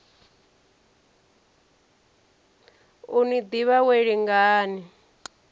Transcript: u ni ḓivha wee lingani